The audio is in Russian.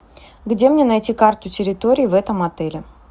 где мне найти карту территории в этом отеле